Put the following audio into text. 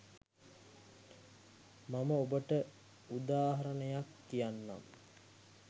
මම ඔබට උදාහරණයක් කියන්නම්.